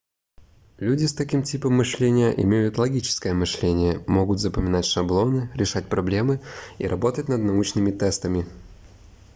люди с таким типом мышления имеют логическое мышление могут запоминать шаблоны решать проблемы и работать над научными тестами